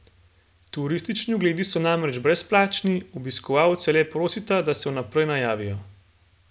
Turistični ogledi so namreč brezplačni, obiskovalce le prosita, da se vnaprej najavijo.